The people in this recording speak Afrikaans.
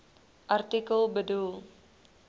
artikel bedoel